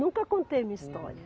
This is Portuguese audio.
Nunca contei minha história.